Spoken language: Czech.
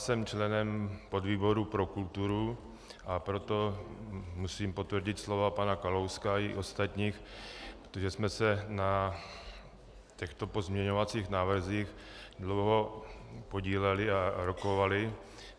Jsem členem podvýboru pro kulturu, a proto musím potvrdit slova pana Kalouska i ostatních, protože jsme se na těchto pozměňovacích návrzích dlouho podíleli a rokovali.